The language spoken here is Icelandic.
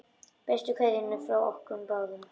Bestu kveðjur frá okkur báðum.